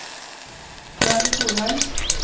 Svenn Solheim